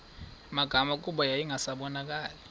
magama kuba yayingasabonakali